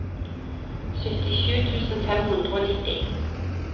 syttisju tusen fem hundre og nitti